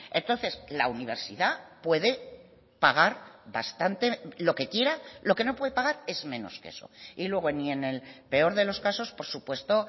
entonces la universidad puede pagar lo que quiera lo que no puede pagar es menos que eso y luego ni en el peor de los casos por supuesto